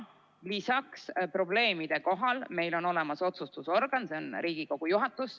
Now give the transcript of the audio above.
Lisaks, probleemide korral on meil olemas otsustusorgan, see on Riigikogu juhatus.